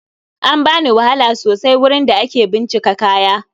An bani wahala sosai wurin da ake bincika kaya